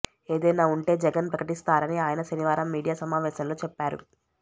ఏదైనా ఉంటే జగన్ ప్రకటిస్తారని ఆయన శనివారం మీడియా సమావేశంలో చెప్పారు